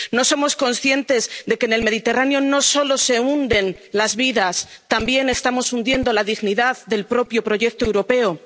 ¿No somos conscientes de que en el Mediterráneo no solo se hunden las vidas, sino que también estamos hundiendo la dignidad del propio proyecto europeo?